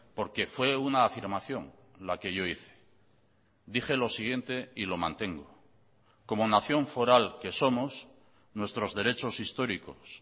porque fue una afirmación la que yo hice dije lo siguiente y lo mantengo como nación foral que somos nuestros derechos históricos